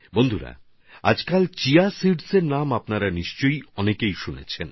বন্ধুগণ আজকাল chia seeds এর নাম আপনারা খুব শুনছেন